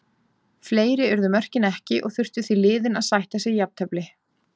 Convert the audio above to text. Fleiri urðu mörkin ekki og þurftu því liðin að sætta sig jafntefli.